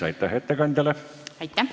Aitäh ettekandjale!